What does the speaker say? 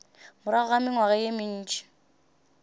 morago ga mengwaga ye mentši